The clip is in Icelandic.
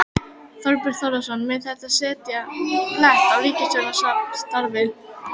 Þorbjörn Þórðarson: Mun þetta setja blett á ríkisstjórnarsamstarfið?